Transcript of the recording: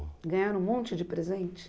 Ganharam um monte de presente?